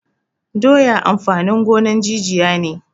Doya amfanin gonan jijiya ne